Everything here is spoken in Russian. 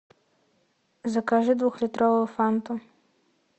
закажи двухлитровую фанту